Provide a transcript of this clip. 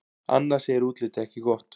Anna segir útlitið ekki gott.